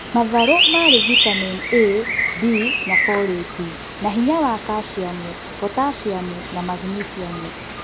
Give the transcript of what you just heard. Matharũ marĩ vitamin A, B na folate na hinya wa cashiamu, potassiamu na magnisiamu